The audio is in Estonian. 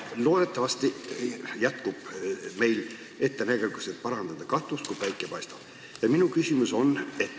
Loodetavasti jätkub meil ettenägelikkust, et parandada katust, kuni päike paistab.